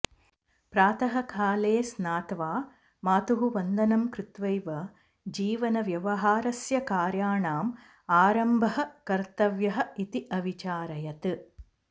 प्रातः काले स्नात्वा मातुः वन्दनं कृत्वैव जीवनव्यवहारस्य कार्याणाम् आरम्भः कर्तव्यः इति अविचारयत्